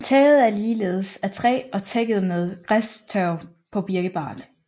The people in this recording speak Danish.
Taget er ligeledes af træ og tækket med græstørv på birkebark